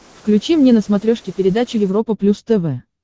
включи мне на смотрешке передачу европа плюс тв